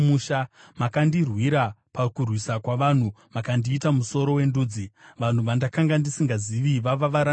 Makandirwira pakurwisa kwavanhu; makandiita musoro wendudzi; vanhu vandakanga ndisingazivi vava varanda vangu.